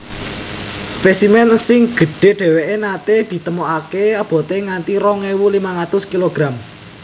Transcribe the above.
Spésimèn sing gedhé dhéwé naté ditemokaké aboté nganti rong ewu limang atus kilogram